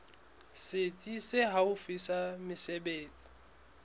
setsi se haufi sa mesebetsi